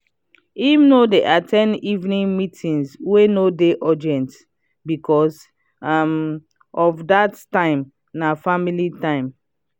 him no dey at ten d evening meeting wey no dey urgent becos um of dat time na family time.